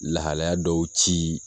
Lahalaya dɔw ci